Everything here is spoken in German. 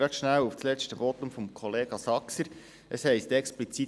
Kurz zum letzten Votum von Kollege Saxer: Es heisst explizit: